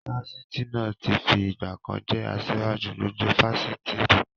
Fásitì náà tí fi ìgbàkan jẹ́ asiwaju gbogbo Fásitì ri